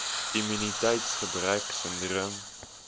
immuniteits gebrek sindroom